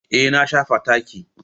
Eh na shafa taki.